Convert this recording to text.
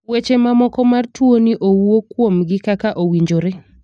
weche ma moko mar tuo ni owuo kuom gi kaka owinjore.